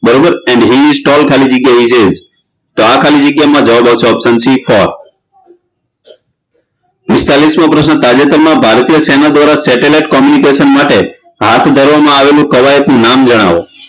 બરોબર he is tall ખાલી જગ્યા he is તો આ ખાલી જગ્યા માં જવાબ આવશે option C પિસ્તાળીસમો પ્રશ્ન તાજેતરમાં ભારતીય સેના દ્વારા satellite communication માટે હાથ ધરવામાં આવેલું કવાયત નું નામ જણાવો